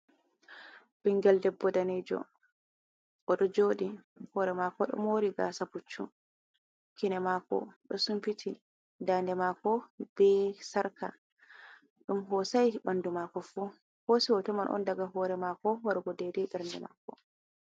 Bingal ɗebbo ɗanejo. oɗo joɗi. Hore mako ɗo mori gasa buccu. Kine mako ɗo sunfiti. Ɗaɗe mako be sarka. Ɗum hosai banɗu mako fu. Hosi hotoman on ɗaga hore mako wargo ɗaiɗai berɗe mako.